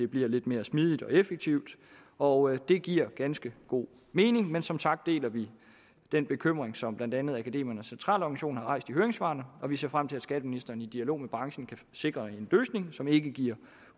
bliver lidt mere smidigt og effektivt og det giver ganske god mening men som sagt deler vi den bekymring som blandt andet akademikernes centralorganisation har rejst i høringssvarene og vi ser frem til at skatteministeren i dialog med branchen kan sikre en løsning som ikke giver